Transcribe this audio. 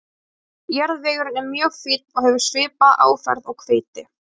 Jarðvegurinn er mjög fínn og hefur svipaða áferð og hveiti.